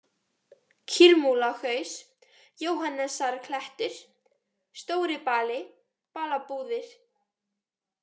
Kýrmúlahaus, Jóhannesarklettur, Stóribali, Balabúðir